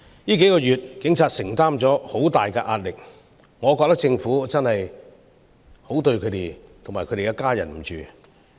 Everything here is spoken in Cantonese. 數個月以來，警察承受了很大的壓力，我認為政府是對不起他們及其家人。